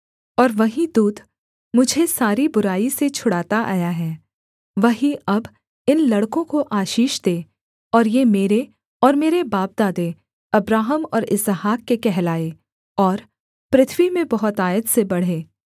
और वही दूत मुझे सारी बुराई से छुड़ाता आया है वही अब इन लड़कों को आशीष दे और ये मेरे और मेरे बापदादे अब्राहम और इसहाक के कहलाएँ और पृथ्वी में बहुतायत से बढ़ें